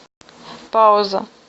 пауза